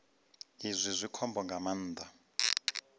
izwi zwi khombo nga maanḓa